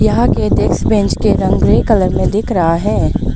यहां के desks bench के रंग ग्रे कलर में दिख रहा है।